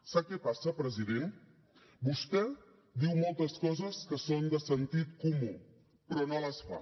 sap què passa president vostè diu moltes coses que són de sentit comú però no les fa